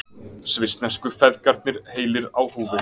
Svissnesku feðgarnir heilir á húfi